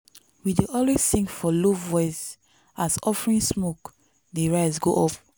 we dey always sing for low voice as offering smoke dey rise go up.